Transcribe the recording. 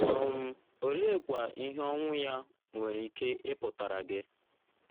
um Oleekwa ihe ọnwụ ya nwere ike ịpụtara gị?